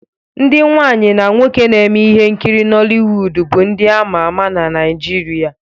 Ndị nwaanyị na nwoke na-eme ihe nkiri Noliwudu bụ ndị ama ama na Naijiria.